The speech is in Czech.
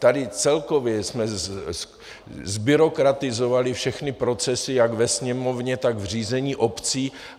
Tady celkově jsme zbyrokratizovali všechny procesy jak ve Sněmovně, tak v řízení obcí.